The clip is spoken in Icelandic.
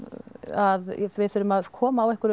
að við þurfum að koma á